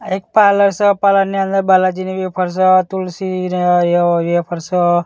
આ એક પાર્લર સ પાર્લર ની અંદર બાલાજી ની વેફર સ તુલસી ની ને એ વેફર સ.